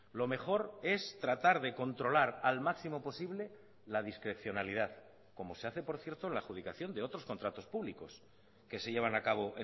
lo mejor es tratar de controlar al máximo posible la discrecionalidad como se hace por cierto la adjudicación de otros contratos públicos que se llevan a cabo